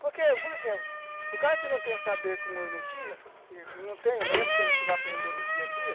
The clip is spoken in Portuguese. Porque, por exemplo, o cara que não tem o saber como eu não tinha, e não tenho mesmo, que a gente vai aprendendo do dia a dia,